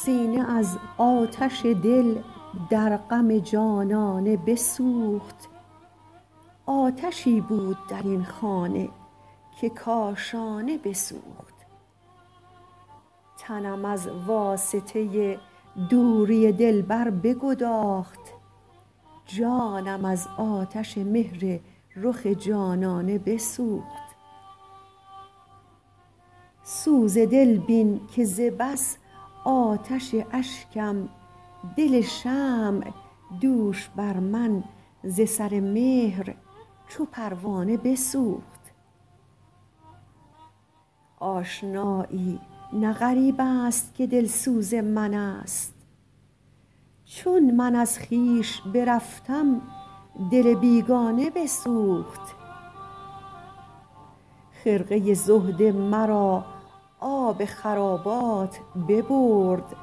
سینه از آتش دل در غم جانانه بسوخت آتشی بود در این خانه که کاشانه بسوخت تنم از واسطه دوری دلبر بگداخت جانم از آتش مهر رخ جانانه بسوخت سوز دل بین که ز بس آتش اشکم دل شمع دوش بر من ز سر مهر چو پروانه بسوخت آشنایی نه غریب است که دلسوز من است چون من از خویش برفتم دل بیگانه بسوخت خرقه زهد مرا آب خرابات ببرد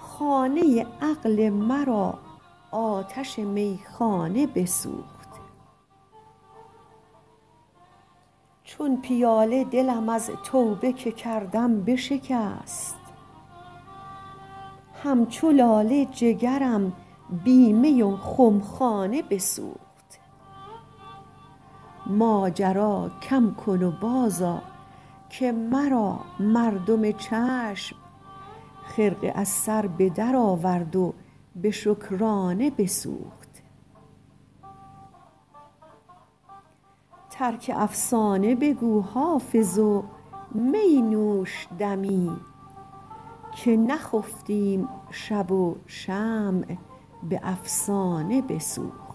خانه عقل مرا آتش میخانه بسوخت چون پیاله دلم از توبه که کردم بشکست همچو لاله جگرم بی می و خمخانه بسوخت ماجرا کم کن و بازآ که مرا مردم چشم خرقه از سر به درآورد و به شکرانه بسوخت ترک افسانه بگو حافظ و می نوش دمی که نخفتیم شب و شمع به افسانه بسوخت